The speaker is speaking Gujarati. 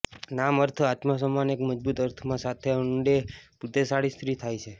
નામ અર્થ આત્મસન્માન એક મજબૂત અર્થમાં સાથે ઊંડે બુદ્ધિશાળી સ્ત્રી થાય છે